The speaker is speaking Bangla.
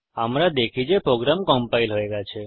আমরা দেখি যে প্রোগ্রাম কম্পাইল হয়ে গেছে